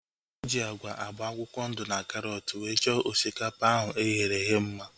Eji agwa agba akwụkwọ ndụ na karọt wee chọọ osikapa ahu eghere eghe mma